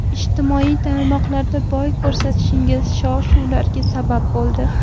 Ijtimoiy tarmoqlarda bo‘y ko‘rsatishingiz shov-shuvlarga sabab bo‘ldi.